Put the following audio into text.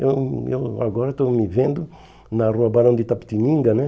Eu eu agora estou me vendo na rua Barão de Itapetininga, né?